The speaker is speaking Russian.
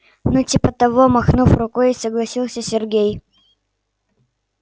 ну типа того махнув рукой согласился сергей